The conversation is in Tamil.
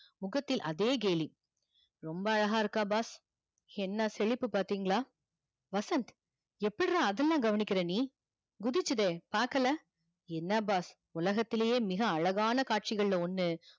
முகத்தில் அதே கேலிரொம்ப அழகா இருக்கா boss என்னா செழிப்பு பாத்திங்களா வசந்த் எப்புட்ரா அதுலா கவனிக்கிற நீ குதிச்சிதே பாக்கல என்னா boss உலகத்துலையே மிக அழகான காட்சிகல் ல ஒன்னு